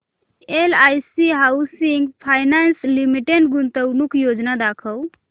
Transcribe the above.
LIC housing finance limited गुंतवणूक योजना दाखव